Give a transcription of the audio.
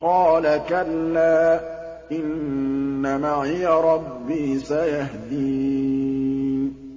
قَالَ كَلَّا ۖ إِنَّ مَعِيَ رَبِّي سَيَهْدِينِ